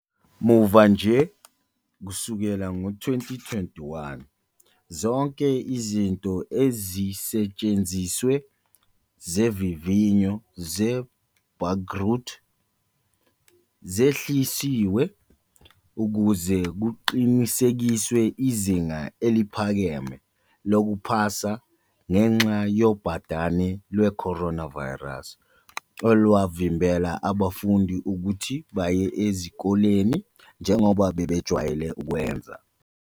Muva nje, kusukela ngo-2021, zonke izinto ezisetshenzisiwe zezivivinyo ze-bagrut sehlisiwe ukuze kuqinisekiswe izinga eliphakeme lokuphasa ngenxa yobhadane lweCoronavirus olwavimbela abafundi ukuthi baye ezikoleni njengoba bebejwayele ukwenza.